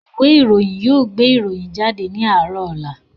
Ìwé ìròyìn yóò gbé ìròyìn náà jáde ní ọ̀la